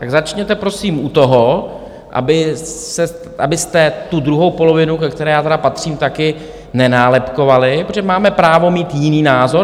Tak začněte prosím u toho, abyste tu druhou polovinu, ke které já tedy patřím taky, nenálepkovali, protože máme právo mít jiný názor.